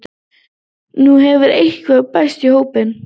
Nú hefur eitt bæst í hópinn